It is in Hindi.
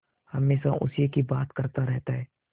हमेशा उसी की बात करता रहता है